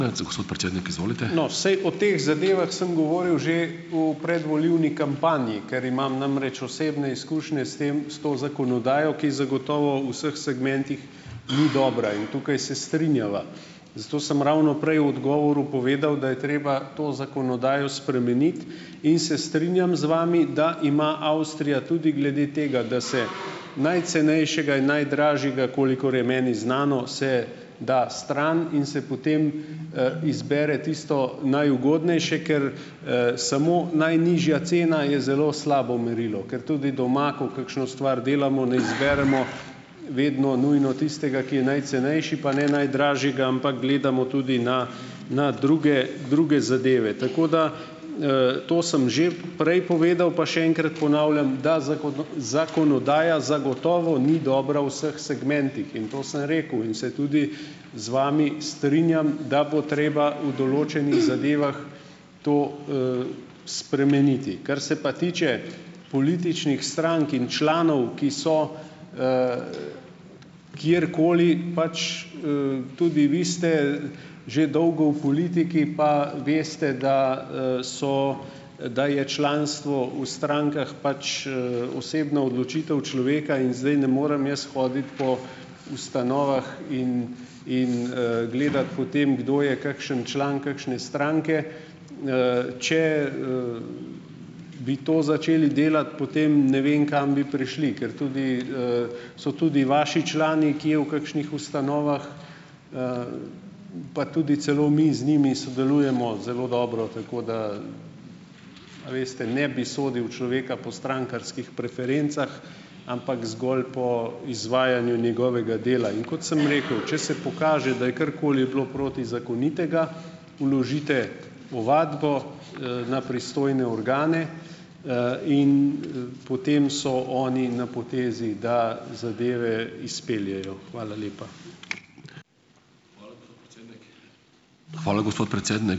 No, saj o teh zadevah sem govoril že v predvolilni kampanji, ker imam namreč osebne izkušnje s tem, s to zakonodajo, ki zagotovo v vseh segmentih ni dobra in tukaj se strinjava. Zato sem ravno prej v odgovoru povedal, da je treba to zakonodajo spremeniti, in se strinjam z vami, da ima Avstrija tudi glede tega, da se najcenejšega in najdražjega, kolikor je meni znano, se da stran in se potem, izbere tisto najugodnejše, ker, samo najnižja cena je zelo slabo merilo, ker tudi doma, ko kakšno stvar delamo, ne zberemo vedno nujno tistega, ki je najcenejši pa ne najdražjega, ampak gledamo tudi na na druge, druge zadeve. Tako da, to sem že prej povedal, pa še enkrat ponavljam, da zakonodaja zagotovo ni dobra v vseh segmentih, in to sem rekel in se tudi z vami strinjam, da bo treba v določenih zadevah to, spremeniti. Kar se pa tiče političnih strank in članov, ki so kjerkoli, pač, tudi vi ste že dolgo v politiki pa veste, da, so, da je članstvo v strankah pač, osebna odločitev človeka in zdaj ne morem jaz hoditi po ustanovah in in, gledati po tem, kdo je kakšen član kakšne stranke. Če, bi to začeli delati, potem ne vem, kam bi prišli, ker tudi, so tudi vaši člani kje v kakšnih ustanovah, pa tudi celo mi z njimi sodelujemo zelo dobro, tako da, a veste, ne bi sodil človeka po strankarskih preferencah, ampak zgolj po izvajanju njegovega dela, in kot sem rekel, če se pokaže, da je karkoli bilo protizakonitega, vložite ovadbo, na pristojne organe, in, potem so oni na potezi, da zadeve izpeljejo. Hvala lepa.